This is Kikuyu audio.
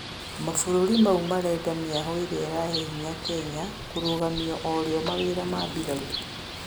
Mabũrũri maũ marenda mĩahũ ĩrĩa ĩrahe hĩnya Kenya "kũrũgamĩa orĩo mawĩra ma bĩrarũ